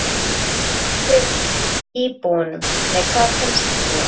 En hvað finnst íbúunum?